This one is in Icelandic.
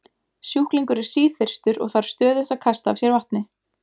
Sjúklingur er síþyrstur og þarf stöðugt að kasta af sér vatni.